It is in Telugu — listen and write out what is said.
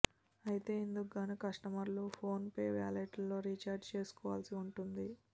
అయితే ఇందుకు గాను కస్టమర్లు ఫోన్ పే వాలెట్లో రీచార్జి చేసుకోవాల్సి ఉంటుంది